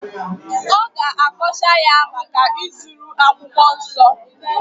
ọ ga-akọcha ya maka izuru akwụkwọ nsọ